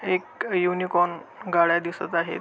एक युनिकॉर्न गाड्या दिसत आहेत.